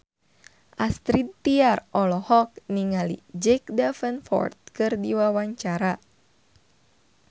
Astrid Tiar olohok ningali Jack Davenport keur diwawancara